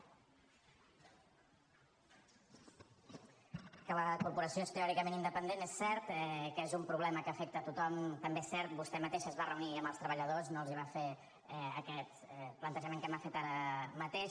que la corporació és teòricament independent és cert que és un problema que afecta tothom també és cert vostè mateixa es va reunir amb els treballadors no els va fer aquest plantejament que m’ha fet ara mateix